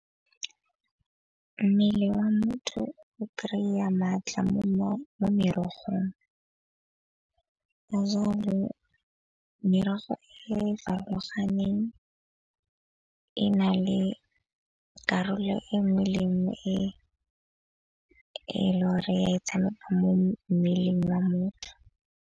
Mmele wa motho o kry-a maatla mo merogong. Ka jalo merogo e farologaneng e na le karolo e nngwe le e nngwe e le gore ya e tshameka mo mmeleng wa motho.